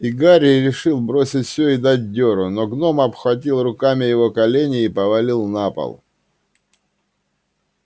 и гарри решил бросить всё и дать дёру но гном обхватил руками его колени и повалил на пол